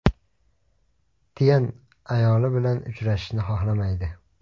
Tyan ayoli bilan uchrashishni xohlamaydi.